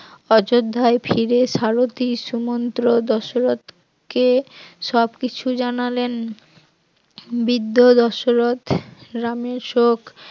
অযোধ্যায় ফিরে সারথি সুমন্ত দশরথ কে সবকিছু জানালেন, বৃদ্ধ ও দশরথ রামের শোক